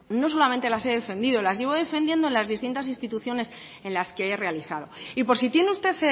no solamente las he defendido las llevo defendiendo las distintas instituciones en las que he realizado y por si tiene usted